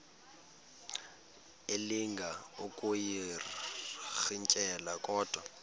elinga ukuyirintyela kodwa